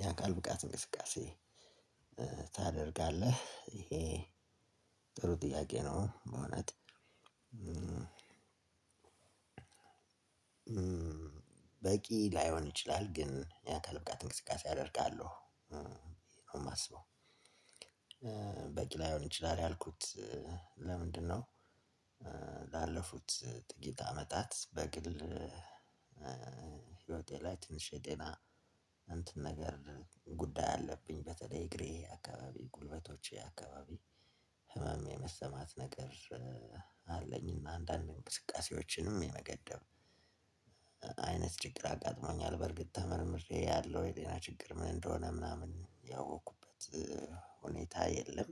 የአካል ብቃት እንቅስቃሴ ታደርጋለህ ይሄ ጥሩ ጥያቄ ነው ማለት። በቂ ላይሆን ይችላል ግን የአካል ብቃት እንቅስቃሴ አደርጋለሁ ነው የማስበው። በቂ ላይሆን ይችላል ያልኩት ለምንድነው? ላለፉት ጥቂት አመታት በግል ህይወቴ ላይ ትንሽ የጤና እንትን ነገር ጉዳይ አለብኝ በተለይ እግሬ አካባቢ ጉልበቶቼ አካባቢ ህመም የመሰማት ነገር አለኝና አንዳንዴ እንብስቃሴዎችንም የመገደብ አይነት ችግር አጋጥሞኛል በርግጥ ተመርምሬ ያለው የጤና ችግር ምን እንደሆነ ምናምን ያወቅኩበት ሁኔታ የለም።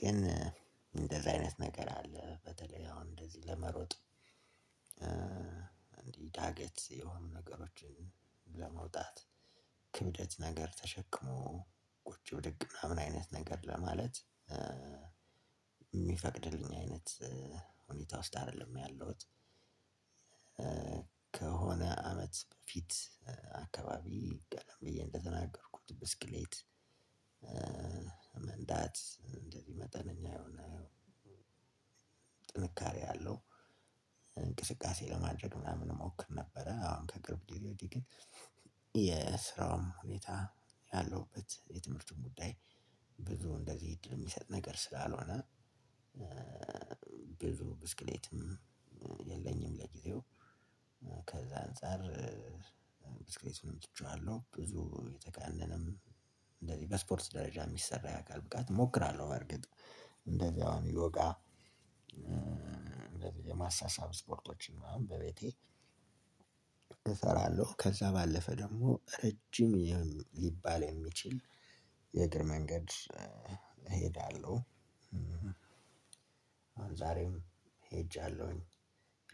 ግን እንደዚህ አይነት ነገር አለ በተለይ አሁን እንደዚ ለመሮጥ ዳገት የሆኑ ነገሮችን ለመውጣት ክብደት ነገር ተሸክሞ ቁጭ ብድግ ምናምን አይነት ነገር ለማለት ሚፈቅድልኝ አይነት ሁኔታ ውስጥ አይደለም ያለሁት። ከሆነ አመት በፊት አካባቢ ቀደም ብየ እንደተናገርኩት ብስክሌት መንዳት እንደዚህ መጠነኛ የሆነ ጥንካሬ ያለው ለማድረግ ምናምን እሞክር ነበረ። አሁን ከቅርብ ግዜ ወዲህ ግን የስራውም ሁኔታ ያለሁበት የትምህርቱን ጉዳይ ብዙ እንደዚህ እድል የሚሰጥ ነገር ስላልሆነ። ብዙ ብስክሌትም የለኝም ለጊዜው ከዛ አንፃር ብስክሌቱንም ትቼዋለሁ ብዙ የተቃለለም እንደዚህ በስፖርት ደረጃ የሚሰራ የአካል ብቃት እሞክራለሁ። በርግጥ እንደዚህ አሁን ይወጋ የማሳሳብ ስፖርቶችን አሁን በቤቴ እሰራለሁ ከዛ ባለፈ ደግሞ ረጅም ሊባል የሚችል የእግር መንገድ እሄዳለሁ። ዛሬም ሄጃለሁኝ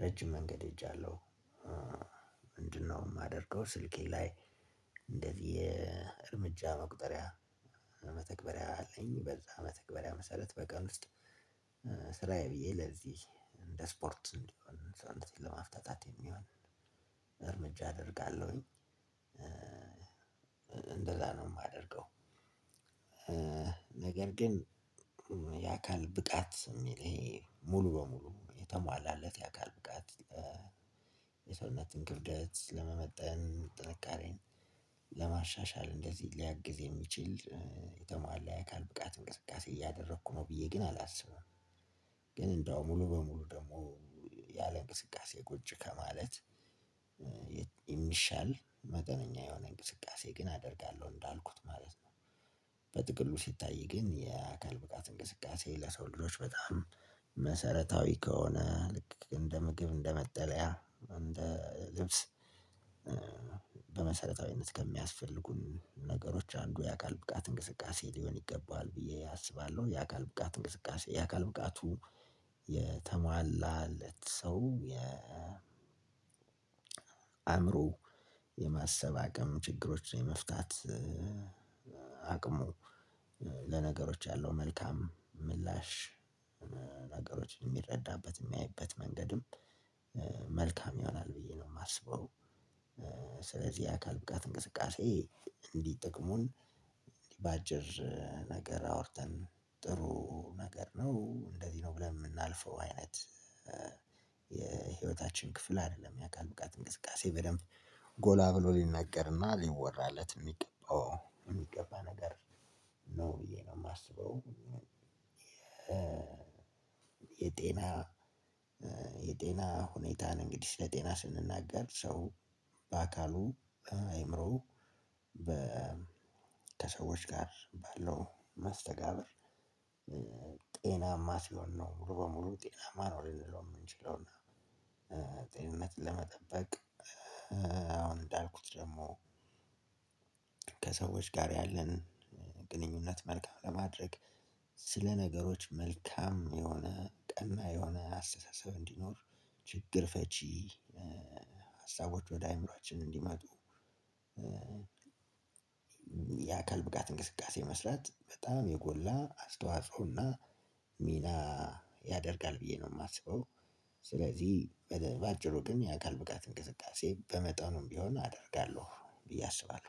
ረጅም መንገድ ሄጃለሁ። ምንድነው የማደርገው? ስልኬ ላይ እንደዚህ የእርምጃ መቁጠሪያ መተግበሪያ አለኝ በዛ መተግበሪያ መሰረት በቀን ውስጥ ስራዬ ብዬ ለዚህ እንደ ስፖርት እንዲሆን ሰውነቴን ለማፍታታት የሚሆን እርምጃ አደርጋለሁኝ። እንደዛ ነው የማደርገው። ነገር ግን የአካል ብቃት ሚል ይሄ ሙሉ በሙሉ የተማላለት የአካል ብቃት የሰውነትን ክብደት ለመመጠን ጥንካሬን ለማሻሻል እንደዚህ ሊያግዝ የሚችል የተሟላ የአካል ብቃት እንቅስቃሴ እያደረኩ ነው ብየ ግን አላስብም። ግን እንደው ሙሉ በሙሉ ደግሞ ያለ እንቅስቃሴ ቁጭ ከማለት የሚሻል መጠነኛ የሆነ እንቅስቃሴ ግን አደርጋለሁ እንዳልኩት ማለት ነው። በጥቅሉ ሲታይ ግን የአካል ብቃት እንቅስቃሴ ለሰው ልጆች በጣም መሰረታዊ ከሆነ ልክ እንደ ምግብ እንደ መጠለያ እንደ ልብስ በመሰረታዊነት ከሚያስፈልጉን ነገሮች አንዱ የአካል ብቃት እንቅስቃሴ ሊሆን ይገባዋል ብዬ አስባለሁ። የአካል ብቃት እንቅስቃሴ የአካል ብቃቱ የተሟላለት ሰው የ አእምሮ የማሰብ አቅም ችግሮች የመፍታት አቅሙ ለነገሮች ያለው መልካም ምላሽ የሚረዳበት የሚያይበት መንገድም መልካም ይሆናል ብዬ ነው የማስበው። ስለዚህ የአካል ብቃት እንቅስቃሴ እንዲህ ጥቅሙን በአጭር ነገር አውርተን ጥሩ ነገር ነው እንደዚህ ነው ብለን የምናልፈው አይነት የህይወታችን ክፍል አይደለም የአካል ብቃት እንቅስቃሴ በደንብ ጎላ ብሎ ሊነገርና ሊወራለት የሚገባው የሚገባ ነገር ነው ብዬ ነው የማስበው። የጤና የጤና ሁኔታን እንግዲህ ስለ ጤና ስንናገር ሰው በአካሉ በአእምሮው በ ከሰዎች ጋር ባለው መስተጋብር ጤናማ ሲሆን ነው ሙሉ በሙሉ ጤናማ ነው ልንለው የምንችለው። ጤንነት ለመጠበቅ አሁን እንዳልኩት ደግሞ ከሰዎች ጋር ያለን ግንኙነት መልካም ለማድረግ ስለ ነገሮች መልካም የሆነ ቀና የሆነ አስተሳሰብ እንዲኖር ችግር ፈቺ ሀሳቦች ወደአእምሮአችን እንዲመጡ። የአካል ብቃት እንቅስቃሴ መስራት በጣም የጎላ አስተዋጽኦና ሚና ያደርጋል ብዬ ነው የማስበው። ስለዚህ በባጭሩ ግን የአካል ብቃት እንቅስቃሴ በመጠኑም ቢሆን አደርጋለሁ ብዬ አስባለሁ